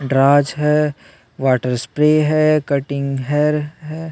दराज है water spray है कटिंग हेयर है।